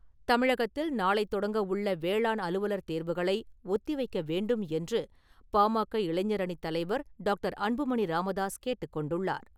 தமிழகத்தில் , நாளை தொடங்க உள்ள வேளாண் அலுவலர் தேர்வுகளை ஒத்திவைக்க வேண்டும் என்று, பா.ம.க. இளைஞர் அணிவத்தலைவர் டாக்டர். அன்புமணி ராமதாஸ் கேட்டுக்கொண்டுள்ளார்.